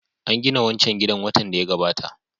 An gina wancan gidan watan da ya gabata